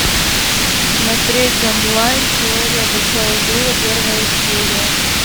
смотреть онлайн теория большого взрыва первая серия